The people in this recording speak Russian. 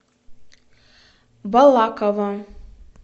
балаково